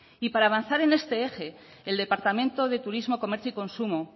y para avanzar en este eje el departamento de turismo comercio y consumo